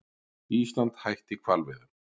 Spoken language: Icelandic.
Ísland hætti hvalveiðum